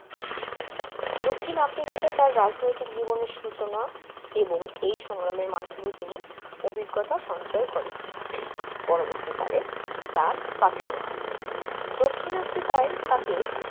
দক্ষিণ আফ্রিকাতেও তার রাজনৈতিক জীবনের সূচনা এবং এই সংগ্রামের মাধ্যমে তিনি অভিজ্ঞতা সঞ্চয় করেন। পরবর্তীকালে তার পাথেয় হয়। দক্ষিণ আফ্রিকায় তাকে